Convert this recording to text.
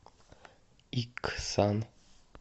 иксан